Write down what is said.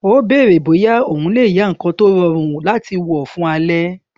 ó bèrè bóyá òun le yá nnkan tó rọrùn láti wọ fún alẹ